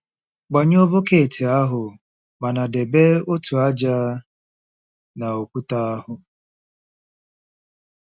Gbanyụọ bọket ahụ mana debe otu ájá na okwute ahụ.